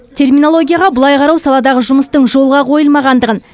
терминологияға бұлай қарау саладағы жұмыстың жолға қойылмағандығын